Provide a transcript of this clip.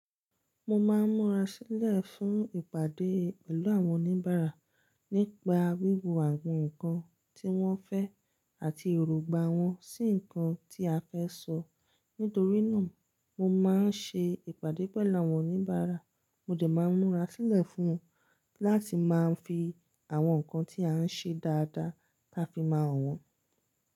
Mo máa ń múra sílẹ̀ fún ìpàdé pẹ̀lú àwọn oníbàárà nípa wíwo àwọn nǹkan tí wọ́n fẹ́ àti erongbà wọn sí nǹkan tí a fẹ́ sọ. Nítorí náà, mo máa ń ṣe ìpàdé pẹ̀lú àwọn oníbàárà, mo dẹ̀ máa ń múra sílẹ̀ fún wọn láti máa fi àwọn nǹkan tí à ń ṣe dáadáa ta fi máa hàn wọ́n.